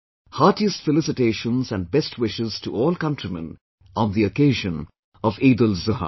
Heartiest felicitations and best wishes to all countrymen on the occasion of EidulZuha